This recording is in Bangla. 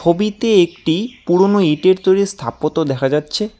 হবিতে একটি পুরনো ইটের তৈরির স্থাপত্য দেখা যাচ্ছে।